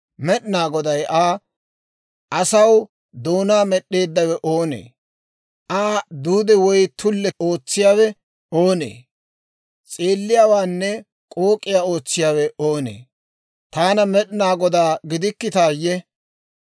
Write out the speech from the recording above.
Med'inaa Goday Aa, «Asaw doonaa med'd'eeddawe oonee? Aa duude, woy tulle ootsiyaawe oonee? S'eelliyaawaanne k'ook'aa ootsiyaawe oonee? Taana Med'inaa Godaa gidikkitaayye?